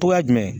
Togoya jumɛn